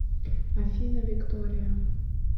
афина виктория